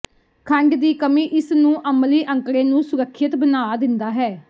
ਖੰਡ ਦੀ ਕਮੀ ਇਸ ਨੂੰ ਅਮਲੀ ਅੰਕੜੇ ਨੂੰ ਸੁਰੱਖਿਅਤ ਬਣਾ ਦਿੰਦਾ ਹੈ